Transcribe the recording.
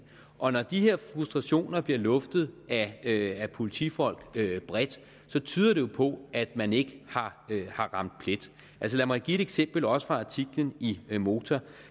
og når de her frustrationer bliver luftet af politifolk bredt tyder det jo på at man ikke har ramt plet lad mig give et eksempel også fra artiklen i motor